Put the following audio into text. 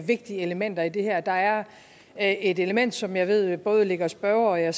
vigtige elementer i det her der er er et element som jeg ved både ligger spørgeren